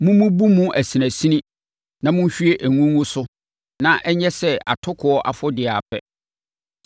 Mommubu mu asinasini na monhwie ngo ngu so na ɛnyɛ sɛ atokoɔ afɔdeɛ ara pɛ.